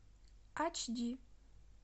ач ди